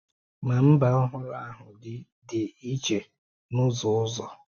Ma mba ọhụrụ ahụ dị dị iche n’ụzọ ọzọ.